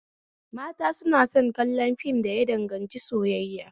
Mata suna son kallon fim da ya danganci soyayya